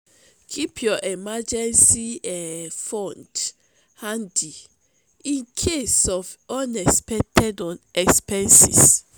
keep your emergency um fund handy in case of unexpected expenses.